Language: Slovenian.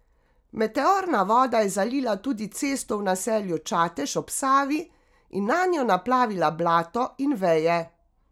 Meteorna voda je zalila tudi cesto v naselju Čatež ob Savi in nanjo naplavila blato in veje.